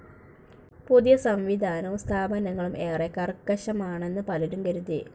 പുതിയ സംവിധാനവും സ്ഥാപനങ്ങളും ഏറെ കർക്കശമാണെന്നു പലരും കരുതി.